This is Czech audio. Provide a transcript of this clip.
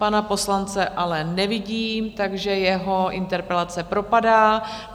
Pana poslance ale nevidím, takže jeho interpelace propadá.